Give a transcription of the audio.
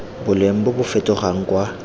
boleng bo bo fetogang kwa